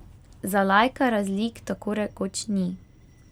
Za laika razlik tako rekoč ni.